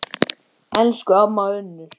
Elsku amma Unnur.